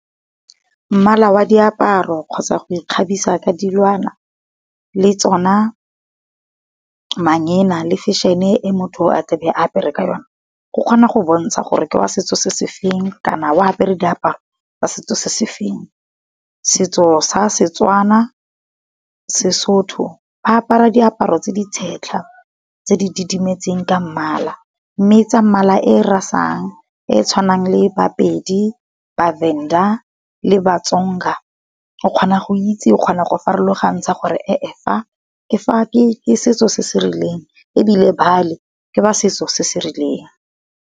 Mmala wa diaparo kgotsa go ikgabisa ka dilwana, le tsona manyena le fešene e motho a tla be apere ka yone, go kgona go bontsha gore ke wa setso se se feng kana wa apere diaparo tsa setso se se feng. Setso sa Setswana, Sesotho ba apara diaparo tse di setlha tse di didimetseng ka mmala, mme tsa mmala e rasang e tshwanang le ba Pedi, ba Venda le ba Tsonga. O kgona go itse o kgona go farologantsha gore e-e fa ke setso se se rileng ebile bale ke ba setso se se rileng.